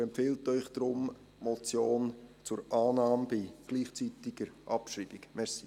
Er empfiehlt Ihnen deshalb, die Motion anzunehmen und gleichzeitig abzuschreiben.